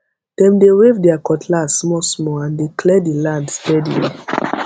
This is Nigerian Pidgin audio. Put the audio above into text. dem they wave their cutlass smallsmall and dey clear the land steadily